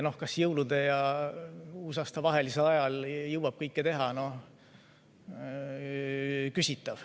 Noh, kas jõulude ja uusaasta vahelisel ajal jõuab kõike teha – küsitav.